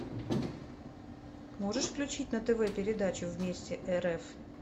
можешь включить на тв передачу вместе рф